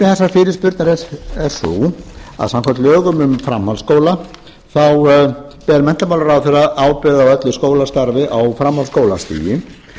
tilefni þessarar fyrirspurnar er sú að samkvæmt lögum um framhaldsskóla þá ber menntamálaráðherra ábyrgð á öllu skólastarfi á framhaldsskólastigi